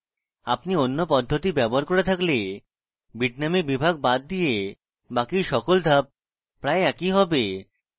আপনি অন্য পদ্ধতি ব্যবহার করে থাকলে bitnami বিভাগ বাদ দিয়ে বাকি সকল ধাপ প্রায় একই have